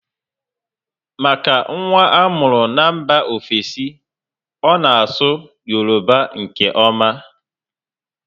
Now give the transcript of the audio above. Maka nwa amuru n'mba ofesi, ọ na asụ Yoruba nke oma